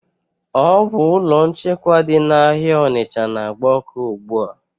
Ọ bu ụlọ nchekwa dị na áhiá Onicha n'agba ọkụ ugbua